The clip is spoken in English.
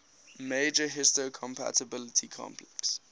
major histocompatibility complex